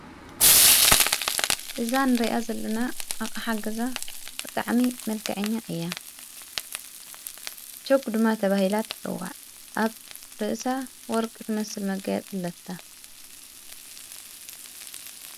እዛ ንርእያ ዘለና ኣቅሓ ገዛ ብጣዕሚ መልከዐኛ እያ ።ሸጕ ድማ ተብሂላት ተፅዎዕ። ኣብ ርእሳ ወርቂ ትመስል መጋያፂ አለታ።